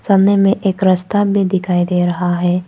सामने में एक रास्ता हमें दिखाई दे रहा है।